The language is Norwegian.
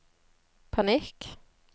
panikk